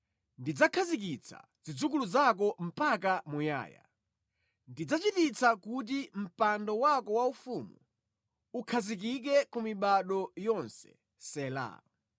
‘Ndidzakhazikitsa zidzukulu zako mpaka muyaya. Ndidzachititsa kuti mpando wako waufumu ukhazikike ku mibado yonse,’ ” Sela.